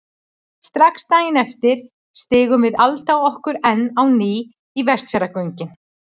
Strax daginn eftir stingum við Alda okkur enn á ný í Vestfjarðagöngin.